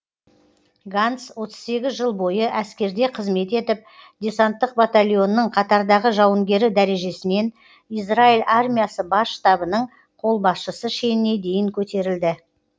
ганц отыз сегіз жыл бойы әскерде қызмет етіп десанттық батальонның қатардағы жауынгері дәрежесінен израиль армиясы бас штабының қолбасшысы шеніне дейін көтерілді